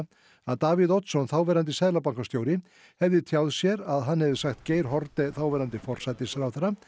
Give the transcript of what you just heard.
að Davíð Oddsson þáverandi seðlabankastjóri hefði tjáð sér að hann hefði sagt Geir Haarde þáverandi forsætisráðherra